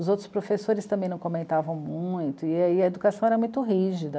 Os outros professores também não comentavam muito e a educação era muito rígida.